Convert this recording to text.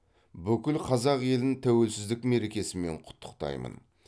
бүкіл қазақ елін тәуелсіздік мерекесімен құттықтаймын